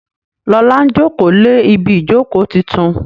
Lọla njoko lẹ Ibi ìjókòó títún.